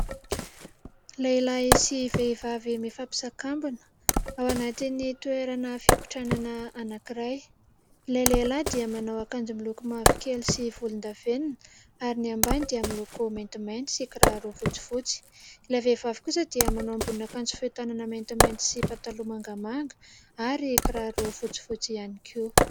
Lehilahy sy vehivavy mifampisakambina ao anatin' ny toerana fikotranana anankiray. Ilay lehilahy dia manao akanjo miloko mavokely sy volon-davenona ary ny ambany dia miloko maintimainty sy fotsifotsy. Ilay vehivavy kosa dia manao ambonin' akanjo fohy tanana maintimainty sy pataloha mangamanga, ary kiraro fotsifotsy ihany koa.